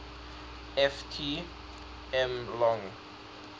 ft m long